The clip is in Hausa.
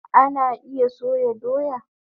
Ana iya soya doya